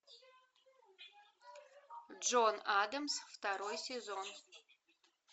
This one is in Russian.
джон адамс второй сезон